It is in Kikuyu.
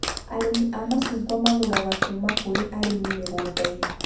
Arĩmi a macungwa magũraga kuma kũri arĩmi mĩgũnda-inĩ